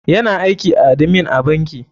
Yana aiki a admin a banki.